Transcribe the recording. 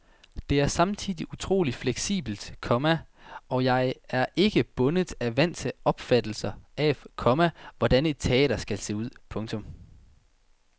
Det er samtidig utroligt fleksibelt, komma og jeg er ikke bundet af vante opfattelser af, komma hvordan et teater skal se ud. punktum